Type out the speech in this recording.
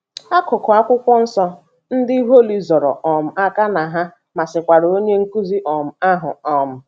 Akụkụ Akwụkwọ Nsọ ndị Holly zoro um aka na ha masịkwara onye nkụzi um ahụ. um